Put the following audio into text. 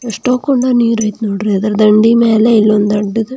ಎಸ್ಟೋಕೊಂಡು ನೀರು ಐತೆ ನೋಡ್ರಿ ಅದರ ದಂಡಿ ಮೇಲೆ ಇನ್ನೊಂದು ದೋಡದ --